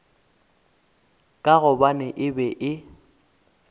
ka gobane e be e